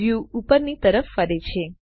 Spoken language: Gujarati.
વ્યુ ઉપરની તરફ ફરે છે